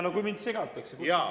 No kui mind segatakse!